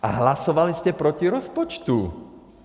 A hlasovali jste proti rozpočtu.